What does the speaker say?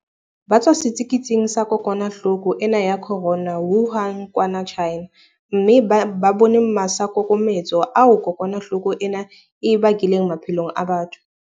Ba tswa setsiketsing sa kokwana-hloko ena ya corona Wuhan kwana China, mme ba bone masaakokometse ao kokwana hloko ena e a bakileng maphelong a batho.